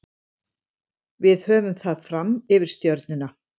Við höfum það fram yfir Stjörnuna.